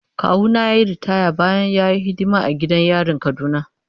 Kawuna ya yi ritaya bayan ya yi hidima a gidan yarin Kaduna.